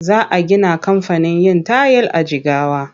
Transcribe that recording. Za a gina kamfanin yin tayil a Jigawa.